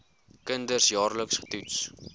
kinders jaarliks getoets